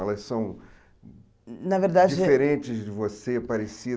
Elas são na verdade diferentes de você,